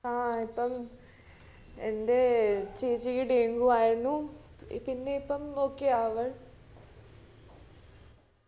ആ ഇപ്പം എന്റെ ചേച്ചിക്ക് dengue ആയിരുന്നു പിന്നെ ഇപ്പം okay ആ അവൾ